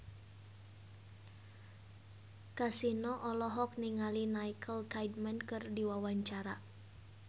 Kasino olohok ningali Nicole Kidman keur diwawancara